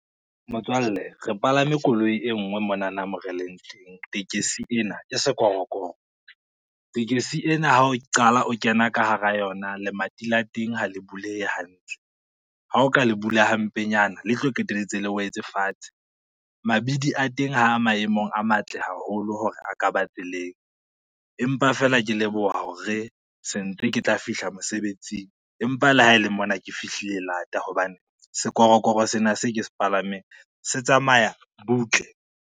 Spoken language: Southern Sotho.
Motswalle re palame koloi e ngwe monana mo re leng teng, tekesi ena ke sekorokoro. Tekesi ena ha o qala o kena ka hara yona lemati la teng ha le buleye hantle, ha o ka le bula hampenyana le tlo qetelletse le wetse fatshe. Mabidi a teng ha maemong a matle haholo hore a ka ba tseleng, empa fela ke leboha hore sentse ke tla fihla mosebetsing, empa le ha e le mona ke fihlile lata hobane sekorokoro sena se ke se palameng se tsamaya butle.